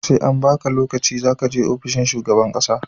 SE an baka lokaci zakaje ofishin shugaban ƙasa